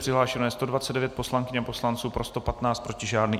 Přihlášeno je 129 poslankyň a poslanců, pro 115, proti žádný.